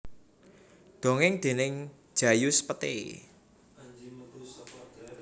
Dongèng déning Djajus Pete